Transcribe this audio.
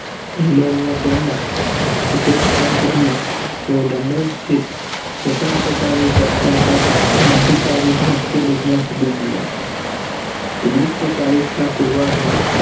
England માં તેમના અભ્યાસ કાળ દરમિયાન તેવો લંડન સ્થિત સ્વન્ત્રા ની કરતા ક્રાંતિકારી ભારતીય લેખ ના બન્યા ઓઘ્નીશ સૌ ચાલીસ ના પુર્વાદ્વા